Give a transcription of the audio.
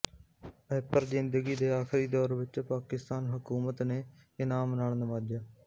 upper ਜ਼ਿੰਦਗੀ ਦੇ ਆਖ਼ਰੀ ਦੌਰ ਵਿੱਚ ਪਾਕਿਸਤਾਨ ਹਕੂਮਤ ਨੇ ਇਨਾਮ ਨਾਲ ਨਵਾਜ਼ਿਆ